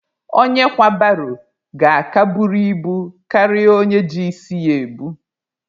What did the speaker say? Onye kwa baro ga-aka buru ibu karịa onye ji isi ya ebu.